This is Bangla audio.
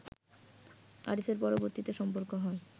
আরিফের পরবর্তীতে সম্পর্ক হয়